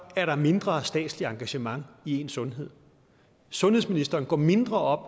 er der mindre statsligt engagement i ens sundhed sundhedsministeren går mindre op